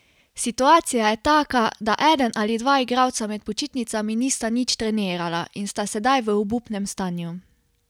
Situacija je taka, da eden ali dva igralca med počitnicami nista nič trenirala in sta sedaj v obupnem stanju.